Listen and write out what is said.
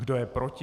Kdo je proti?